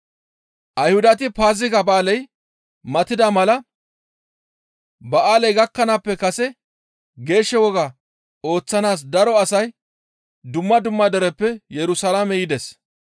Ayhudati Paaziga ba7aaley matida mala ba7aaley gakkanaappe kase geesho woga ooththanaas daro asay dumma dumma dereppe Yerusalaame yides.